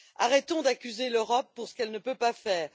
Arrêtons d'accuser l'Europe pour ce qu'elle ne peut pas faire.